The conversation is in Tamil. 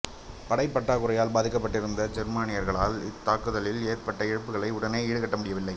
படைப் பற்றாக்குறையால் பாதிக்கப்பட்டிருந்த ஜெர்மானியர்களால் இத்தாக்குதலில் ஏற்பட்ட இழப்புகளை உடனே ஈடுகட்ட முடியவில்லை